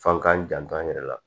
F'an k'an janto an yɛrɛ la